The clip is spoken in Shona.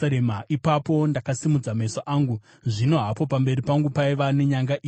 Ipapo ndakasimudza meso angu, zvino hapo pamberi pangu paiva nenyanga ina!